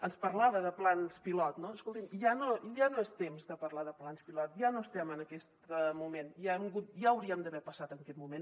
ens parlava de plans pilot no escolti’m ja no és temps de parlar de plans pilot ja no estem en aquest moment ja hauríem d’haver passat aquest moment